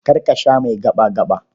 Kar ka sha mai gaɓa-gaɓa.